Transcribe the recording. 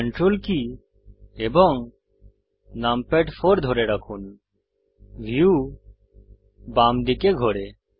ctrl কী এবং numpad 4 ধরে রাখুন ভিউ বাম দিকে ঘোরে